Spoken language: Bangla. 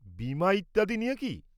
বীমা ইত্যাদি নিয়ে কি?